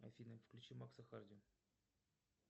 афина включи макса харди